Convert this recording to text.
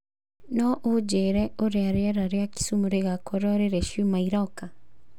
no ũnjĩĩre ũrĩa rĩera rĩa kisumu rĩgaakorũo rĩrĩ ciumia iroka